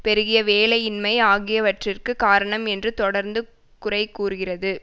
பெருகிய வேலையின்மை ஆகியவற்றிற்கு காரணம் என்று தொடர்ந்து குறை கூறுகிறது